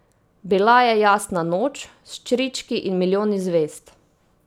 Bila je jasna noč, s črički in milijoni zvezd.